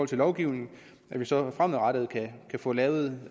til lovgivningen så vi fremadrettet kan få lavet